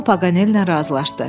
Hamı Paqanellə razılaşdı.